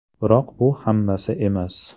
Biroq bu hammasi emas.